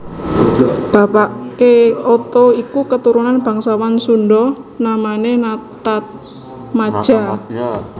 Bapake Oto iku keturunan bangsawan Sunda namane Nataatmadja